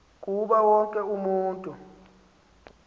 kuba wonke umntu